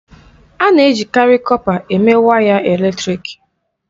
A na-ejikarị kọpa eme waya eletrịk.